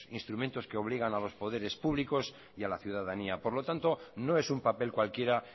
instrumentos que obligan a los poderes públicos y a la ciudadanía por lo tanto no es un papel cualquiera